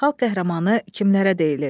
Xalq qəhrəmanı kimlərə deyilir?